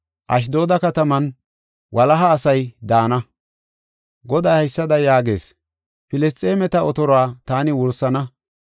Ashdooda kataman walaha asay daana. Goday haysada yaagees: “Filisxeemeta otoruwa taani wursana.